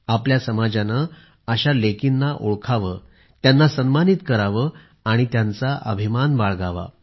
आपल्या समाजाने अशा लेकींना ओळखावे त्यांना सन्मानित करावे आणि त्यांचा अभिमान बाळगावा